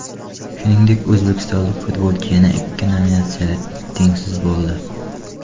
Shuningdek, o‘zbekistonlik futbolchi yana ikki nominatsiyada tengsiz bo‘ldi.